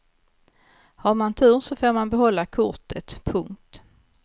Har man tur så får man behålla kortet. punkt